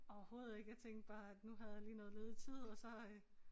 Overhovedet ikke jeg tænkte bare at nu havde jeg lige noget ledig tid og så øh